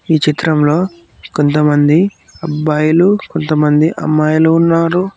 ఈ చిత్రంలో కొంతమంది అబ్బాయిలు కొంతమంది అమ్మాయిలు ఉన్నారు.